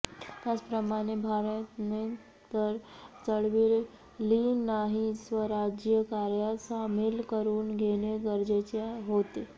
त्याचप्रमाणे ब्राह्मणेतर चळवलींनाही स्वराज्य कार्यात सामील करून घेणे गरजेचे होते